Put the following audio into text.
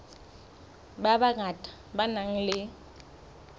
ba bangata ba nang le